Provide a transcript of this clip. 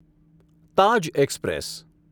Taj express